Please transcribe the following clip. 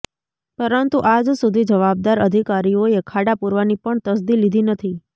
પરંતુ આજ સુધી જવાબદાર અધિકારીઓએ ખાડા પુરવાની પણ તસદી લીધી નથી